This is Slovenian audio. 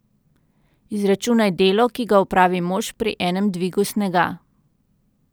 Izračunaj delo, ki ga opravi mož pri enem dvigu snega.